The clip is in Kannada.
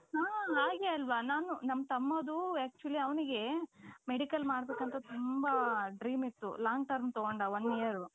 ಹ್ಮ್ಹಾ ಗೆ ಆಲ್ವಾ ನಾವ್ ನಮ್ ತಮ್ಮಾದು actually ಅವನಿಗೆ medical ಮಾಡ್ಬೇಕು ಅಂತ ತುಂಬಾ dream ಇತ್ತು long term ತಗೊಂಡ one year.